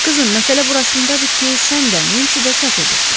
Qızım, məsələ burasındadır ki, sən də, Nensi də səhv edirsiz.